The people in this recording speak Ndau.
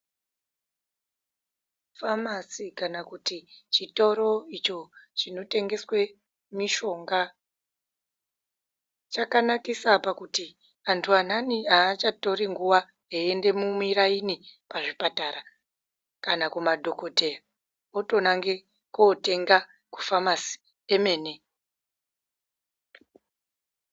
Famasi kana kuti chitoro icho chinotengeswe mishonga, chakanakisa pakuti, antu anhani aachatori nguwa, eiende mumuraini pazvipatara, kana kumadhokoteya, otonange kootenga kumafamasi emene.